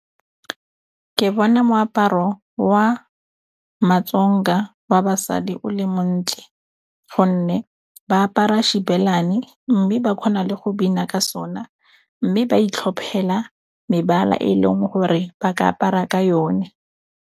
Ke bona moaparo wa matsoga wa basadi o le montle gonne ba apara xibelani, mme ba kgona le go bina ka sona, mme ba itlhophela mebala e leng gore ba ka apara ka yone.